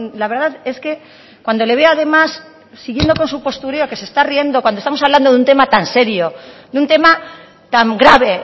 la verdad es que cuando le veo además siguiendo con su postureo que se está riendo cuando estamos hablando de un tema tan serio de un tema tan grave